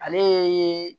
Ale ye